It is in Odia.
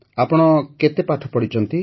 ଆପଣ କେତେ ପାଠ ପଢ଼ିଛନ୍ତି